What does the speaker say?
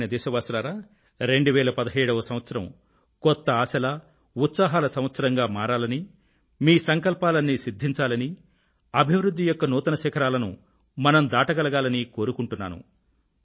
ప్రియమైన నా దేశవాసులారా 2017వ సంవత్సరం కొత్త ఆశల ఉత్సాహాల సంవత్సరంగా మారాలనీ మీ సంకల్పాలన్నీ సిధ్ధించాలనీ అభివృధ్ధి యొక్క నూతన శిఖరాలను మనం దాటగలగాలనీ కోరుకొంటున్నాను